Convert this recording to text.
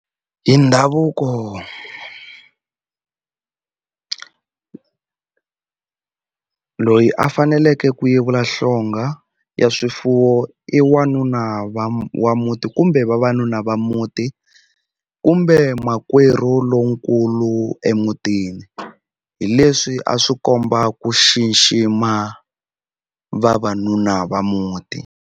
Hi ndhavuko loyi a faneleke ku yevula hlonga ya swifuwo i wanuna wa wa muti kumbe vavanuna va muti kumbe makwerhu lonkulu emutini hi leswi a swi komba ku xixima vavanuna va muti.